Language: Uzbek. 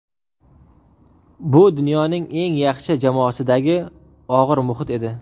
Bu dunyoning eng yaxshi jamoasidagi og‘ir muhit edi.